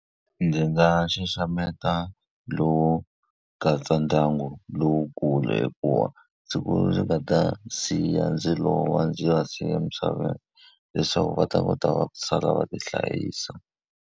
Ndzi nga xaxameta lowu katsa ndyangu lowukulu hikuva siku ndzi nga ta siya ndzi lova ndzi va siya emisaveni leswaku va ta kota ku sala va ti hlayisa.